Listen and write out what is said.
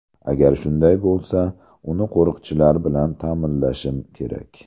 Agar shunday bo‘lsa, uni qo‘riqchilar bilan ta’minlashim kerak.